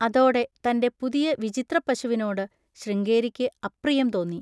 അതോടെ തൻ്റെ പുതിയ വിചിത്രപ്പശുവിനോട് ശൃംഗേരിക്ക് അപ്രിയം തോന്നി.